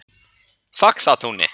Faxatúni